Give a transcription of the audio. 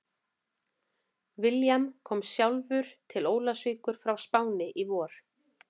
William kom sjálfur til Ólafsvíkur frá Spáni í vor.